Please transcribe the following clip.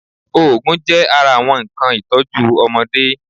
Oògùn jẹ́ ara àwọn nnkan ìtọ́jú ọmọdé